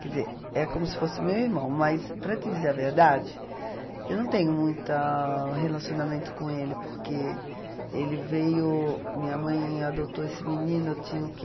Quer dizer, é como se fosse meu irmão, mas para te dizer a verdade, eu não tenho muita relacionamento com ele, porque ele veio, minha mãe adotou esse menino, eu tinha o quê?